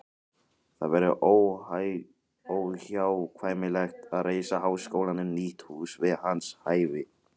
Það verður óhjákvæmilegt að reisa háskólanum nýtt hús við hans hæfi.